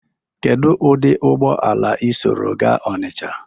kedu ụdị ụgbọala i soro gaa Ọnịcha?